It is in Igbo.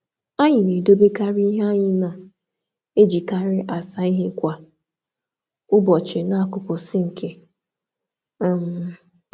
Anyị na-edobe sponji nhicha anyị masịrị anyị nso na sinki maka iji kwa ụbọchị.